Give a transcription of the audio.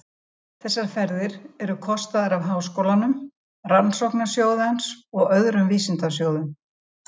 Þessar ferðir eru kostaðar af Háskólanum, Rannsóknasjóði hans og öðrum vísindasjóðum.